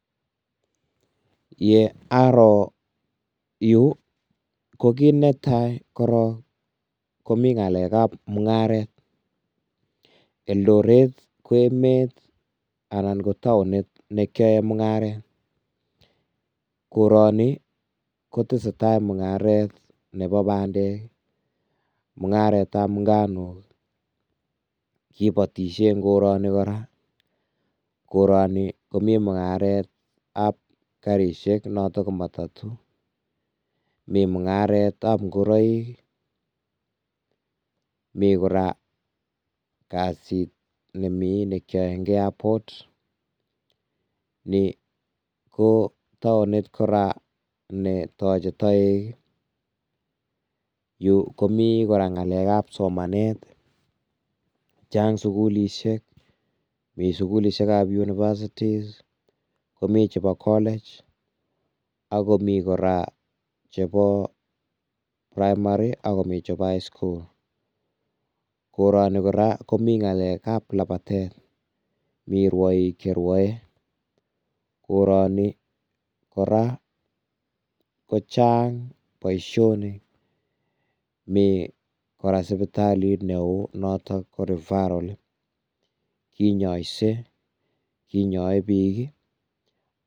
Ye aroo yu ko kit netai korong komi ngalekab mungaret, eldoret ko emet anan ko taonit nekiyoen mungaret, kotoni kotesetai mungaret nebo bandek, mungaret ab nganuk ii, kibotisie eng koroni kora, koroni komi mungaret ab karisiek noton ko matatu, mi mungaret ab ngoroik, mi kora kasit me keyoe eng airport, ni ko taonit kora ne toche toek ii, yu komi kora ngalekab somanet, chang sukulisiek, mi sukilisiek ab universities, mi chebo college, akomi kora chebo primary, akomi chebo highschool, koroni kora komi ngalekab labatet, mi rwoiik cherwoe, koroni kora kochang boisionik, mi sibitalit neoo natok ko referral, kinyoise, kinyoe bik ii.